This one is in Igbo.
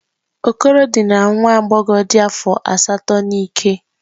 Okoro dinara nwa agbọghọ dị afọ asatọ n'ike.